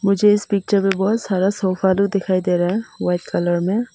मुझे इस पिक्चर में बहुत सारा सोफा दिखाई दे रहा है वाइट कलर में।